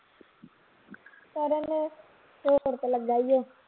ਕਰਨ ਤੇ ਲੱਗਾ ਈ ਓ